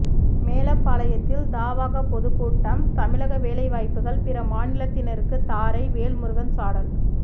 மேலப்பாளையத்தில் தவாக பொதுக்கூட்டம் தமிழக வேலைவாய்ப்புகள் பிற மாநிலத்தினருக்கு தாரை வேல்முருகன் சாடல்